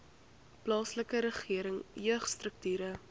plaaslike regering jeugstrukture